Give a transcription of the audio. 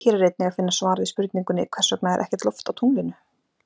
Hér er einnig að finna svar við spurningunni Hvers vegna er ekkert loft á tunglinu?